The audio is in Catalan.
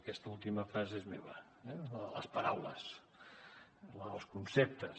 aquesta última frase és meva la de les paraules la dels conceptes